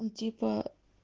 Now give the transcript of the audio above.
он типа